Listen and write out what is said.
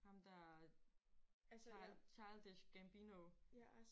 Ham der fra Childish Gambino